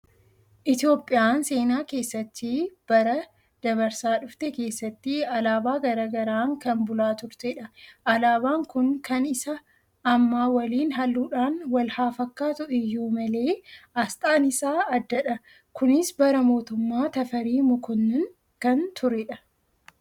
Itoophiyaan seenaa keessatti bara dabarsaa dhufte keessatti alaabaa garaa garaan kan bulaa turtedha. Alaabaan kun kan isa ammaa waliin halluudhaan wal haa fakkaatu iyyuu malee, asxaan isaa addadha. Kunis bara mootummaa Tafarii Mokonnon kan turedha.